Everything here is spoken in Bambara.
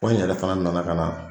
Wa n yɛrɛ fana nana ka na